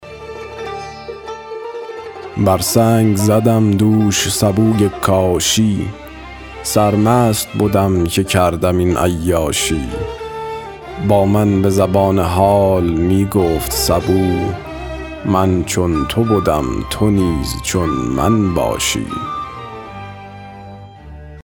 بر سنگ زدم دوش سبوی کاشی سرمست بدم که کردم این عیاشی با من به زبان حال می گفت سبو من چون تو بدم تو نیز چون من باشی